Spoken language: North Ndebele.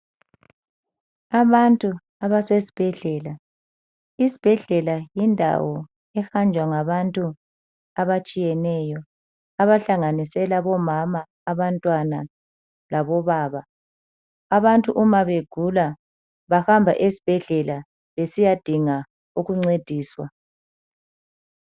Abantu abase sibhedlela, isibhedlela yindawo ehanjwa ngabantu abatshiyeneyo abahlanganisela omama, abantwana labo baba. Abantu uma begula bahamba esibhedlela besiyadinga ukuncediswa.